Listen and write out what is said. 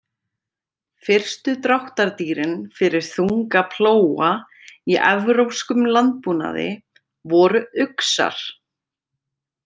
Fyrstu dráttardýrin fyrir þunga plóga í evrópskum landbúnaði voru uxar.